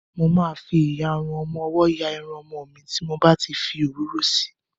Mo ma fi ìyarun ọmọwọ́ ya Irun ọmọ mi tí n bá ti fi òróró si.